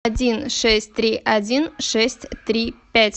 один шесть три один шесть три пять